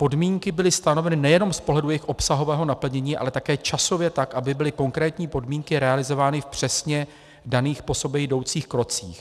Podmínky byly stanoveny nejenom z pohledu jejich obsahového naplnění, ale také časově tak, aby byly konkrétní podmínky realizovány v přesně daných po sobě jdoucích krocích.